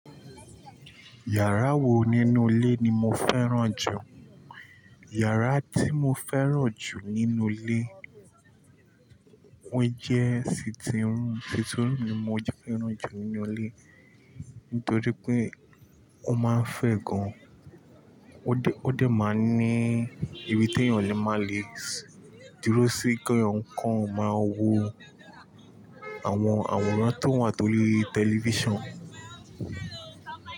Yàrá wo nínú ilé ni mo fẹ́ràn jù? Yàrá tí mo fẹ́ràn jù nínú ilé, ó jẹ́ sitting room, sitting room ni mo fẹ́ràn jù nínú ilé nítorí pé ó máa ń fẹ̀ gan. Ó dé, ó dé máa ń ní ibi tí èeyàn lè máa le dúró sí kí èeyàn kan máa wo àwọn àwòrán tó wà tó ríi lórí tẹlifíṣàn.